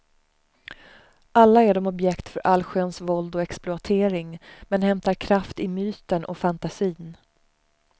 Alla är de objekt för allsköns våld och exploatering, men hämtar kraft i myten och fantasin.